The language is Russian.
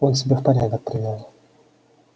он себя в порядок привёл